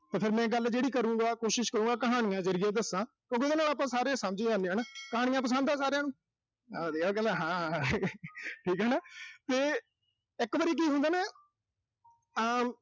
ਤੇ ਫਿਰ ਮੈਂ ਗੱਲ ਜਿਹੜੀ ਕਰੂੰਗਾ, ਕੋਸ਼ਿਸ਼ ਕਰੂੰਗਾ, ਕਹਾਣੀਆਂ ਜ਼ਰੀਏ ਦੱਸਾਂ। ਤੇ ਜੀਹਦੇ ਨਾਲ ਆਪਾਂ ਸਾਰੇ ਸਮਝ ਜਾਨੇ ਆਂ ਹਨਾ। ਕਹਾਣੀਆਂ ਪਸੰਦ ਆ ਸਾਰਿਆਂ ਨੂੰ। ਆ ਦੇ ਆਹ ਕਹਿੰਦਾ ਹਾਂ ਅਹ ਠੀਕ ਆ ਨਾ। ਤੇ ਇੱਕ ਵਾਰੀ ਕੀ ਹੁੰਦਾ ਨਾ ਅਮ